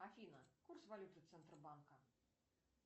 афина курс валюты центробанка